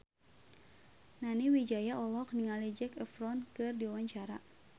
Nani Wijaya olohok ningali Zac Efron keur diwawancara